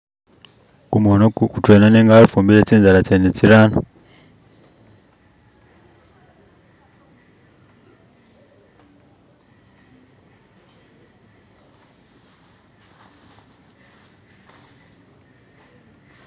Khumukhono gutwena nenga wafumbile tsinzala tsene tsirano